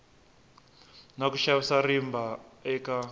na ku xavisa rimba eka